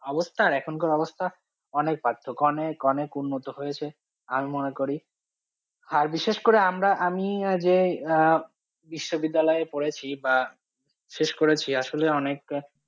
অবস্থা আর এখনকার অবস্থা অনেক পার্থক্য অনেক অনেক উন্নত হয়েছে আমি মনে করি আর বিশেষ করে আমরা আমি আহ যে আহ বিশ্ববিদ্যালয়ে পড়েছি বা শেষ করেছি আসলে অনেক